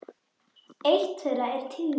Eitt þeirra er tíðni.